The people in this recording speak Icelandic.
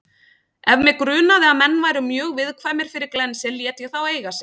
Ef mig grunaði að menn væru mjög viðkvæmir fyrir glensi lét ég þá eiga sig.